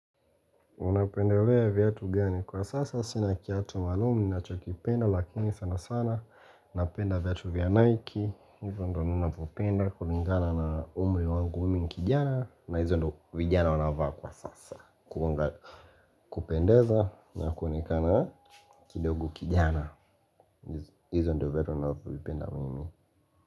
Unapendelea viatu gani kwa sasa nina kiatu maalumu ninachokipenda lakini sana sana Napenda viatu vya Nike, hivyo ndo ninavopenda, kulingana na umri wangu mimi ni kijana na hizo ndo vijana wanavaa kwa sasa kupendeza na kuonekana kidogo kijana hizo ndo viatu ninavyovipenda mimi.